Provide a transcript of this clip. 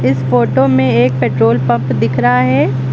इस फोटो में एक पेट्रोल पंप दिख रहा है।